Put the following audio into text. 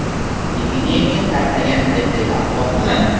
Epidemiya tarqagan paytdagi axloq nima?